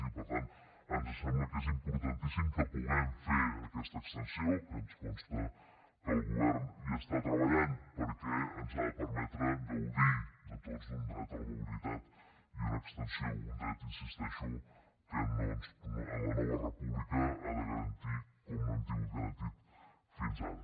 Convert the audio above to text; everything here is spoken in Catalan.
i per tant ens sembla que és importantíssim que puguem fer aquesta extensió ens consta que el govern hi està treballant perquè ens ha de permetre gaudir a tots d’un dret a la mobilitat un dret hi insisteixo que la nova república ha de garantir que no l’hem tingut garantit fins ara